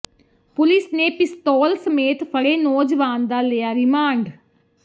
police ਨੇ ਪਿਸਤੌਲ ਸਮੇਤ ਫੜੇ ਨੌਜਵਾਨ ਦਾ ਲਿਆ ਰਿਮਾਂਡ